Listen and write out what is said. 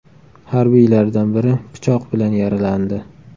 Harbiylardan biri pichoq bilan yaralandi.